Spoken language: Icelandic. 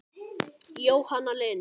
Jóhanna Lind.